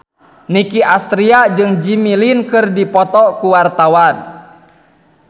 Nicky Astria jeung Jimmy Lin keur dipoto ku wartawan